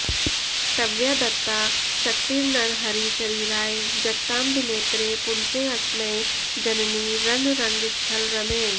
त्वया दत्ता शक्तिर्नरहरिशरीराय जगतां विनेत्रे पुंसेऽस्मै जननि रणरङ्गस्थलरमे